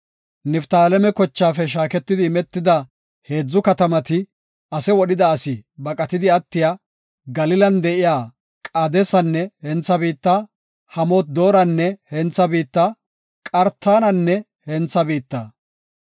Niftaaleme kochaafe shaaketi imetida heedzu katamati, ase wodhida asi baqatidi attiya, Galilan de7iya Qaadesanne hentha biitta, Hamoot-Dooranne hentha biitta, Qartananne hentha biitta.